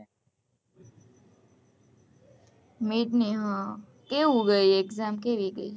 mid ની કેવું ગઈ exam કેવી ગઈ